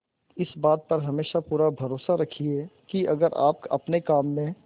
इस बात पर हमेशा पूरा भरोसा रखिये की अगर आप अपने काम में